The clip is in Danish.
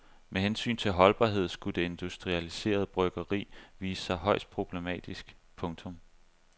Med hensyn til holdbarhed skulle det industrialiserede byggeri vise sig højst problematisk. punktum